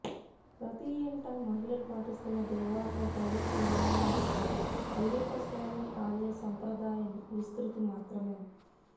ప్రతి ఇంటా మహిళలు పాటిస్తున్న దేవాలయ ప్రవేశ నియమానికి అయ్యప్పస్వామి ఆలయ సంప్రదాయం విస్తృతి మాత్రమే